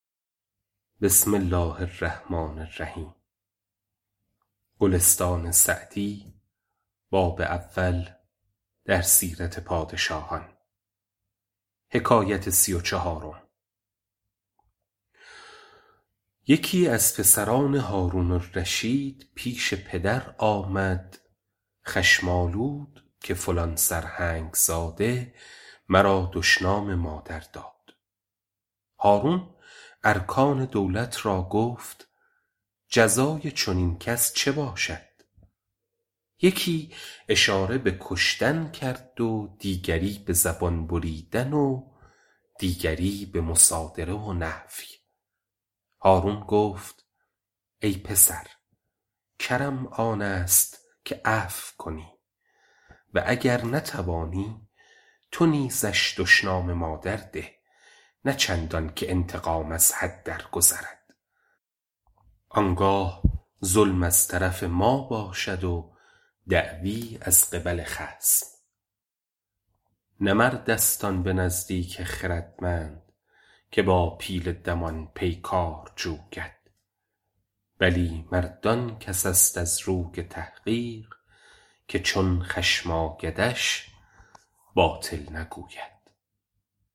یکی از پسران هارون الرشید پیش پدر آمد خشم آلود که فلان سرهنگ زاده مرا دشنام مادر داد هارون ارکان دولت را گفت جزای چنین کس چه باشد یکی اشاره به کشتن کرد و دیگری به زبان بریدن و دیگری به مصادره و نفی هارون گفت ای پسر کرم آن است که عفو کنی و گر نتوانی تو نیزش دشنام مادر ده نه چندان که انتقام از حد درگذرد آن گاه ظلم از طرف ما باشد و دعوی از قبل خصم نه مرد است آن به نزدیک خردمند که با پیل دمان پیکار جوید بلی مرد آن کس است از روی تحقیق که چون خشم آیدش باطل نگوید